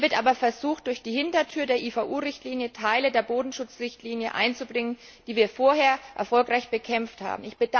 Hier wird aber versucht, durch die Hintertür der IVU Richtlinie Teile der Bodenschutzrichtlinie einzubringen, die wir vorher erfolgreich bekämpft haben.